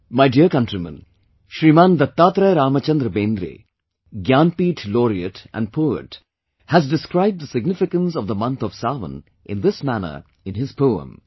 My dear countrymen, Shriman Dattatraya Ramchandra Bendre, gyanpith laureate and poet has described the significance of the month of Sawan in this manner in his poem